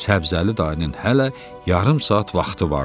Səbzəli dayının hələ yarım saat vaxtı vardı.